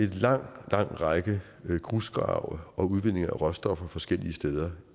en lang lang række grusgrave og udvinding af råstoffer forskellige steder